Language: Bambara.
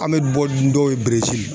An bɛ bɔ ni dɔw ye